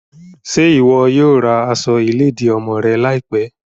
Ṣe iwọ yoo ra aṣọ iledi ọmọ rẹ laipẹ?